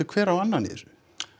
hver á annan í þessu